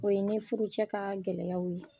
O ye i ni furucɛ ka gɛlɛyaw ye,